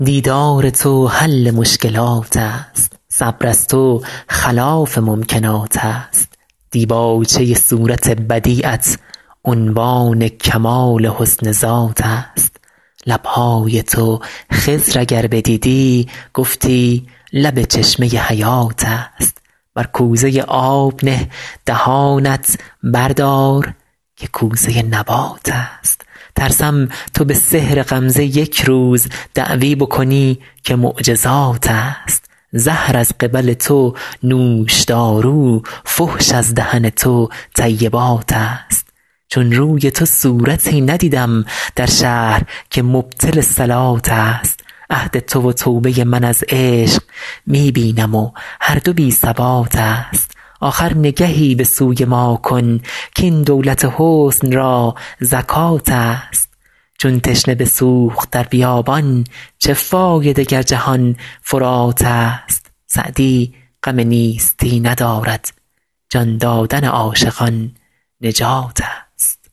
دیدار تو حل مشکلات است صبر از تو خلاف ممکنات است دیباچه صورت بدیعت عنوان کمال حسن ذات است لب های تو خضر اگر بدیدی گفتی لب چشمه حیات است بر کوزه آب نه دهانت بردار که کوزه نبات است ترسم تو به سحر غمزه یک روز دعوی بکنی که معجزات است زهر از قبل تو نوشدارو فحش از دهن تو طیبات است چون روی تو صورتی ندیدم در شهر که مبطل صلات است عهد تو و توبه من از عشق می بینم و هر دو بی ثبات است آخر نگهی به سوی ما کن کاین دولت حسن را زکات است چون تشنه بسوخت در بیابان چه فایده گر جهان فرات است سعدی غم نیستی ندارد جان دادن عاشقان نجات است